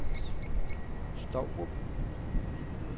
Stourup